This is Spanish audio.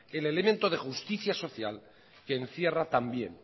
el elemento de justicia social que encierra también